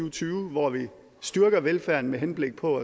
og tyve hvor vi styrker velfærden med henblik på